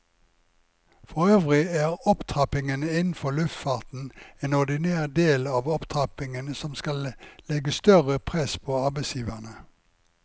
Forøvrig er opptrappingen innenfor luftfarten en ordinær del av opptrappingen som skal legge større press på arbeidsgiverne.